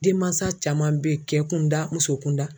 Denmansa caman bɛ ye cɛ kunda muso kun da.